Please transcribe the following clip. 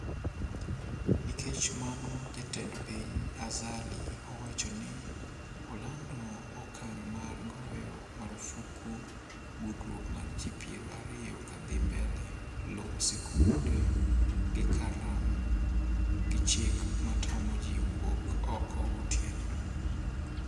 Nikech mano jatend piny Azali owacho ni olando okang' mar goyo marufuku gudruok mar ji piero ariyo kadhi mbele, loro skunde gi karlam gi chik matamo ji wuok oko gotieno.